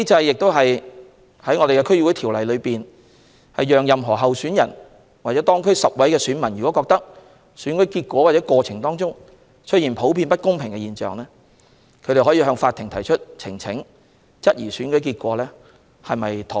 根據《區議會條例》，這機制讓任何候選人或當區10位選民若覺得選舉結果或過程出現普遍不公平的現象，他們可向法庭提出呈請，質疑選舉結果是否妥當。